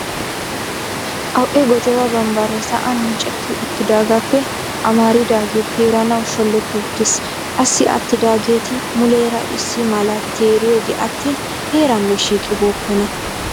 Qaw"e gojjoba bambbare sa'an miccetti uttidaagappe amaridaage teeranaw shoolloti uttiis. Qassi attidaageeti muleera issi malaa teeriyooge attin heeranne shiiqqi bookkona.